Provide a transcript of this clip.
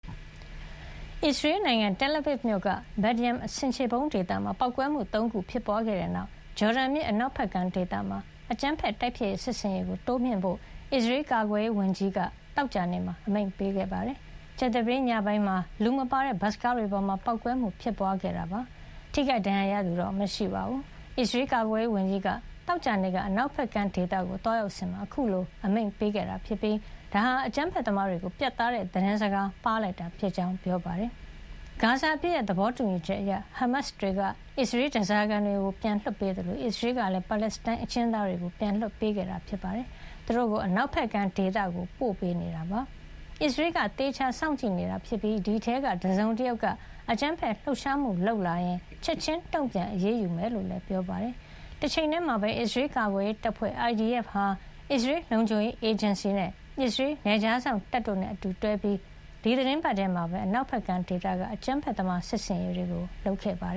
အစ္စရေးနိုင်ငံ Tel Aviv မြို့က Bat Yam ဆင်ခြေဖုံးဒေသမှာ ပေါက်ကွဲမှု ၃ ခု ဖြစ်ပွါးခဲ့တဲ့နောက် ဂျော်ဒန်မြစ် အနောက်ဘက်ကမ်းဒေသမှာ အကြမ်းဖက်တိုက်ဖျက်မှု စစ်ဆင်ရေးကို တိုးမြှင့်ဖို့ အစ္စရေးကာကွယ်ရေးဝန်ကြီး Israel Katz က သောကြာနေ့မှာ အမိန့်ပေးခဲ့ပါတယ်။ ကြာသပတေးညပိုင်းမှာ လူမပါတဲ့ ဘတ်စ်ကားတွေပေါ်မှာ ပေါက်ကွဲမှု ဖြစ်ပွါးခဲ့တာဖြစ်ပြီး ထိခိုက်ဒဏ်ရာရသူ မရှိပါဘူး။ အစ္စရေးကာကွယ်ရေး ဝန်ကြီးက သောကြာနေ့ အနောက်ဘက်ကမ်း ဒေသကို သွားရောက်စဉ်မှာ အခုလို အမိန့်ပေးလိုက်တာ ဖြစ်ပြီး ဒါဟာ အကြမ်းဖက်သမားတွေကို ပြတ်သားတဲ့ သတင်းစကား ပါးလိုက်တာဖြစ်ကြောင်း ပြောပါတယ်။ ဂါဇာအပစ်ရပ် သဘောတူညီချက်အရ ဟားမတ်စ်တွေက အစ္စရေး ဓါးစာခံတွေ ပြန်လွှတ်ပေးသလို အစ္စရေးကလည်း ပါလက်စတိုင်းအကျဉ်းသားတွေ ပြန်လွှတ်ပေးခဲ့တာပါ။ သူတို့ကို အနောက်ဘက်ကမ်းဒေသကို ပို့ပေးနေပြီး အစ္စရေးက သေချာစောင့်ကြည့်နေတာ ဖြစ်ပါတယ်။ အဲဒီထဲက တစုံတယောက်က အကြမ်းဖက်လှုပ်ရှားမှု လုပ်လာရင် ချက်ချင်းတုံ့ပြန် အရေးယူမှာ ဖြစ်ကြောင်းလည်း ပြောပါတယ်။ တချိန်ထဲမှာပဲ အစ္စရေးကာကွယ်ရေးတပ်ဖွဲ့ IDF ဟာ အစ္စရေးလုံခြုံရေးအေဂျင်စီ၊ အစ္စရေးနယ်ခြားစောင့်တပ်တို့နဲ့ အတူတွဲပြီး ဒီသီတင်းပတ်ထဲ အနောက်ဘက်ကမ်းမှာ အကြမ်းဖက်သမား စစ်ဆင်ရေးတွေ လုပ်ခဲ့တာပါ။